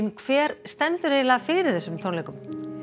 hver stendur fyrir þessum tónleikum